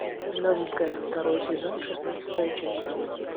новенькая второй сезон шестнадцатая часть